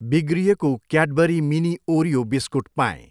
बिग्रिएको Cadbury mini Oreo biscuit पाएँ।